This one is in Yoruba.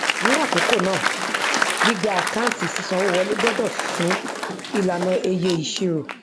ni àkókò náà gbígba àkáǹtí sísanwowọlé gbọdọ fún ìlànà eye ìṣirò